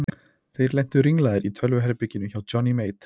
Þeir lentu ringlaðir í tölvuherberginu hjá Johnny Mate.